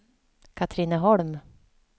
Katrineholm